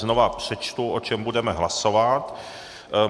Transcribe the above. Znovu přečtu, o čem budeme hlasovat.